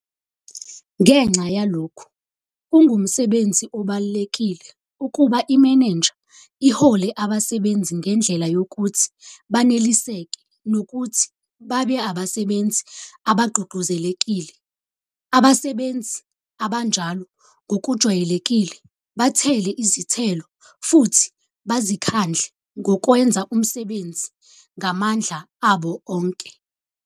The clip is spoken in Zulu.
Ngenxa yalokhu, kungumsebenzi obalulekile ukuba imeneja ihole abasebenzi ngendlela yokuthi baneliseke nokuthi babe abasebenzi abagqugquzelekile. Abasebenzi abanjalo ngokujwayelekile bathele izithelo futhi bazikhandle ngokwenza umsebenzi ngamandla abo onke.